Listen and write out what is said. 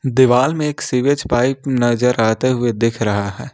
दिवाल मे एक सिवेज पाइप नजर आते हुए दिख रहा हैं।